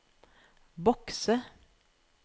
bokse